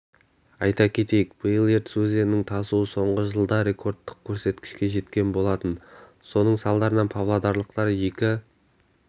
айта кетейік биыл ертіс өзенінің тасуы соңғы жылда рекордтық көрсеткішке жеткен болатын соның салдарынан павлодарлықтар екі